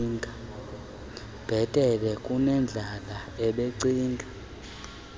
bhetele kunendlela ebecinga